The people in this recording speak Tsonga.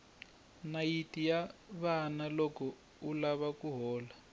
nayiti ya vava loko u lava ku hola